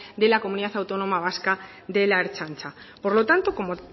de la comunidad autónoma vasca de la ertzaintza por lo tanto como